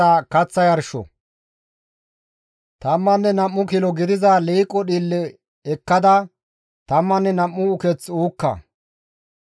«Tammanne nam7u kilo gidiza liiqo dhiille ekkada tammanne nam7u uketh uukka.